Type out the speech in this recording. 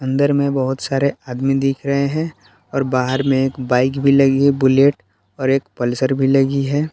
अंदर में बहुत सारे आदमी दिख रहे हैं और बाहर में एक बाइक भी लगी बुलेट और एक पल्सर भी लगी है।